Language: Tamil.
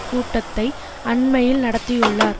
கூட்டத்தை அண்மையில் நடத்தியுள்ளார்